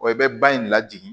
Wa i bɛ ba in lajigin